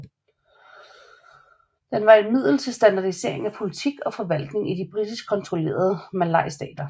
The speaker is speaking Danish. Den var et middel til standardisering af politik og forvaltning i de britisk kontrollerede malaystater